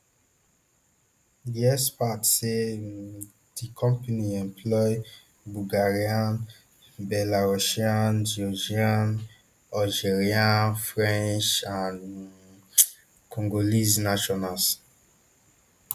di experts say um di company employ bulgarian belarusian georgian algerian french and um congolese nationals